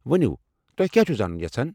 ؤنِو، تۄہہِ كیاہ چھِوٕ زانٗن یژھان ؟